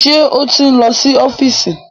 Ṣé ó ti ń lọ sí ọ́fíìsì?